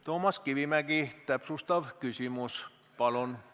Toomas Kivimägi, täpsustav küsimus, palun!